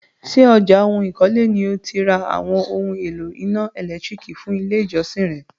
Ṣé ọjà ohun ikole ni o ti ra àwọn oún èlò iná ẹ̀lẹ́tírìkì fún ilé ìjọsìn re?